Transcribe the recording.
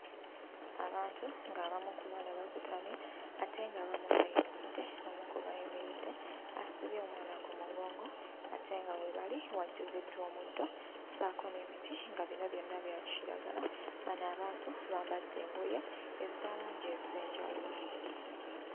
Abantu ng'abamu ku bano bakutamye ate ng'abamu bayimiridde. Omu ku bayimiridde asibye omwana ku mugongo ate nga we bali wajjuziddwa omuddo ssaako n'emiti nga bino byonna bya kiragala. Bano abantu bambadde engoye eza langi ez'enjawulo.